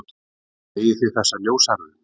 Eigið þið þessa ljóshærðu?